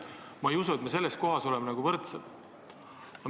Ma ei usu, et me selles mõttes võrdsed oleme.